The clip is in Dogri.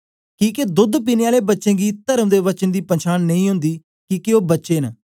किके दोद्द पीने आले बच्चें गी तर्म दे वचन दी पंछान नेई ओंदी किके ओ बच्चा ऐ